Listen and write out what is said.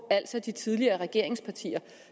altså de tidligere regeringspartier